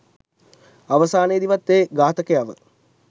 අවසානයේදිවත් ඒ ඝාතකයව